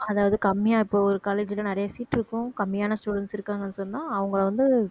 அதாவது கம்மியா இப்போ ஒரு college லலாம் நிறைய seat இருக்கும் கம்மியான students இருக்காங்கன்னு சொன்னா அவங்களை வந்து